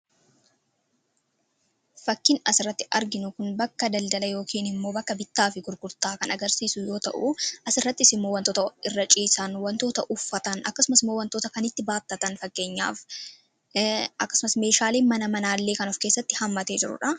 Fakkiin as irratti arginu kun bakka daldala yookiin immoo bakka bittaa fi gurgurtaa kan agarsiisu yoo ta'u asirrattis immoo wantoota irra ciisaan wantoota uffatan akkasumas immoo wantoota kan itti baattatan fakkeenyaaf akkasumas meeshaalee mana manaallee kan of keessatti hammatee jiruudha.